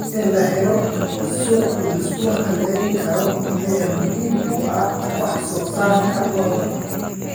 In la helo suuq la isku halayn karo ayaa muhiim u ah wax soo saarka lo'da.